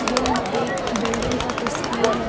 यह एक बिल्डिंग का तस्वीर है।